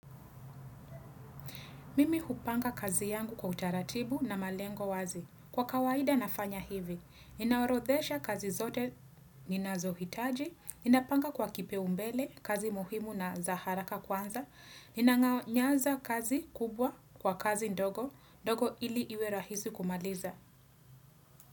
Mimi hupanga kazi yangu kwa utaratibu na malengo wazi. Kwa kawaida nafanya hivi. Ninaorodhesha kazi zote ninazohitaji. Ninapanga kwa kipaumbele kazi muhimu na za haraka kwanza. Ninaanza kazi kubwa kwa kazi ndogo. Ndogo ili iwe rahisi kumaliza.